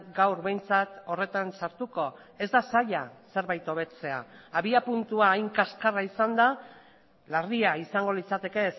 gaur behintzat horretan sartuko ez da zaila zerbait hobetzea abiapuntua hain kaskarra izanda larria izango litzateke